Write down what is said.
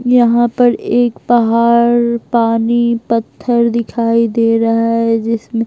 यहां पर एक पहाड़ पानी पत्थर दिखाई दे रहा है जिसमें--